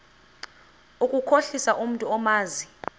ukukhohlisa umntu omazi